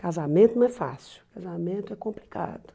Casamento não é fácil, casamento é complicado.